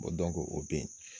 Ko o bɛ yen